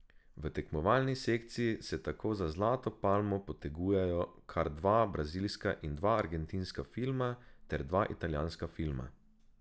V tekmovalni sekciji se tako za zlato palmo potegujejo kar dva brazilska in dva argentinska filma ter dva italijanska filma.